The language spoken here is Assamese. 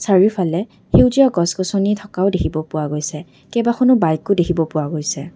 চাৰিওফালে সেউজীয়া গছ গছনি থকাও দেখিব পোৱা গৈছে কেইবাখনো বাইক ও দেখিব পোৱা গৈছে।